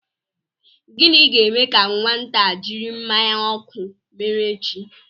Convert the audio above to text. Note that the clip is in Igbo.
Gịnị ga-eme ka nwata a jiri mmanya ọkụ mere chi?